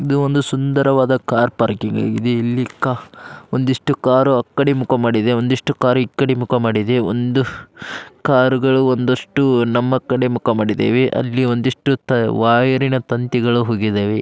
ಇದು ಒಂದು ಸುಂದರವಾದ ಕಾರ್ ಪಾರ್ಕಿಂಗ್ ಇದು ಇಲ್ಲಿ ಕಾ ಒಂದಿಷ್ಟು ಕಾರು ಆಕಡೆ ಮುಖ ಮಾಡಿದೆ ಒಂದಿಷ್ಟು ಕಾರು ಆಕಡೆ ಮುಖಮಾಡಿದೆ ಒಂದು ಕಾರುಗಳು ಒಂದಷ್ಟ್ಟು ನಮ್ಮ ಕಡೆ ಮುಖ ಮಾಡಿದವೆ ಅಲ್ಲಿ ಒಂದಿಷ್ಟ್ಟು ತ ವೈರಿನ ತಂತಿಗಳು ಹೋಗಿದವೆ.